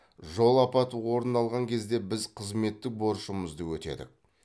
жол апаты орын алған кезде біз қызметтік борышымызды өтедік